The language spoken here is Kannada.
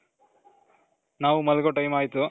ನಾವು ಮಲಗೋ time ಆಯ್ತು